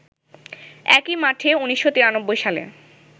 একই মাঠে ১৯৯৩ সালে